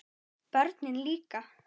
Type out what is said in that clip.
Börnin líka.